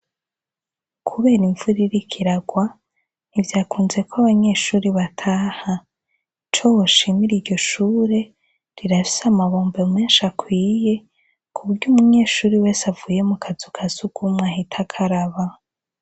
Kubera imvura iriko iragwa, ntivyakunzeko abanyeshure bataha, Ico boshimira iryo shure, rirafise amabombo menshi akwiye kuburyo umunyeshuri wese avuye mu kazu kasugumwe ahita akaraba.